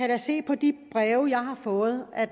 da se på de breve jeg har fået at